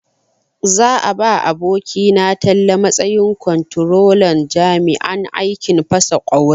Za a ba abokina Talle matsayin kwamtrolan jami'an aikin fasa ƙwauri na Najeriya.